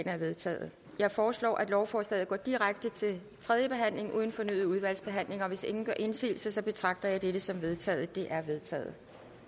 er vedtaget jeg foreslår at lovforslaget går direkte til tredje behandling uden fornyet udvalgsbehandling hvis ingen gør indsigelse betragter jeg dette som vedtaget det er vedtaget